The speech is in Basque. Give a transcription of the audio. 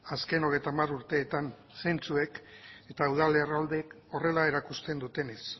azken hogeita hamar urteetan zentzuek eta udal erroldek horrela erakusten dutenez